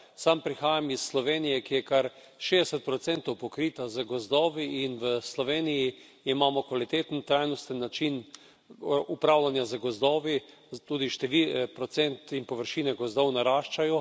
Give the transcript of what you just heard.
Sam prihajam iz Slovenije, ki je kar 60 pokrita z gozdovi, in v Sloveniji imamo kvaliteten, trajnosten način upravljanja z gozdovi, tudi procent in površine gozdov naraščajo.